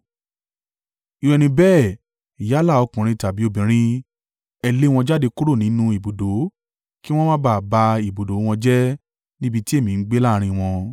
Irú ẹni bẹ́ẹ̀ yálà ọkùnrin tàbí obìnrin, ẹ lé wọn jáde kúrò nínú ibùdó kí wọn má ba à ba ibùdó wọn jẹ́ níbi tí èmi ń gbé láàrín wọn.”